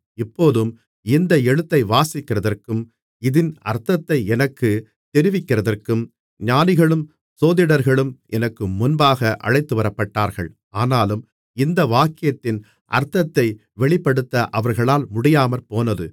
இப்போதும் இந்த எழுத்தை வாசிக்கிறதற்கும் இதின் அர்த்தத்தை எனக்குத் தெரிவிக்கிறதற்கும் ஞானிகளும் சோதிடர்களும் எனக்கு முன்பாக அழைத்துவரப்பட்டார்கள் ஆனாலும் இந்த வாக்கியத்தின் அர்த்தத்தை வெளிப்படுத்த அவர்களால் முடியாமற்போனது